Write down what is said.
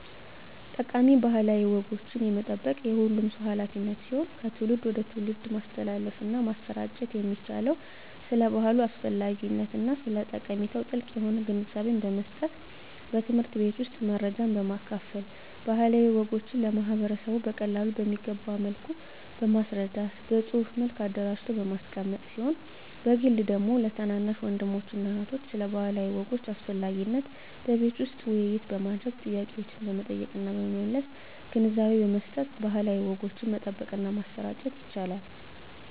ጠቃሚ ባህላዊ ወጎችን የመጠበቅ የሁሉም ሰው ሀላፊነት ሲሆን ከትውልድ ወደ ትውልድ ማስተላለፍና ማሰራጨት የሚቻለው ስለ ባህሉ አስፈላጊነትና ስለ ጠቀሜታው ጥልቅ የሆነ ግንዛቤን በመስጠት በትምህርት ቤት ውስጥ መረጃን በማካፈል ባህላዊ ወጎችን ለማህበረሰቡ በቀላሉ በሚገባ መልኩ በማስረዳት በፅሁፍ መልክ አደራጅቶ በማስቀመጥ ሲሆን በግል ደግሞ ለታናናሽ ወንድሞችና እህቶች ስለ ባህላዊ ወጎች አስፈላጊነት በቤት ውስጥ ውይይት በማድረግ ጥያቄዎችን በመጠየቅና በመመለስ ግንዛቤ በመስጠት ባህላዊ ወጎችን መጠበቅና ማሰራጨት ይቻላል።